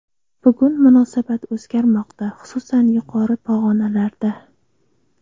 Bugun munosabat o‘zgarmoqda, xususan, yuqori pog‘onalarda.